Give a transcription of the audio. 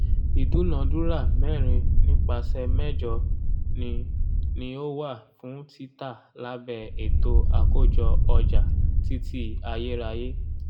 ìdúnàdúrà mẹ́rin nípasẹ̀ mẹ́jọ ni ni ó wà fún títa lábẹ́ ètò àkójọ ọjà títí ayérayé.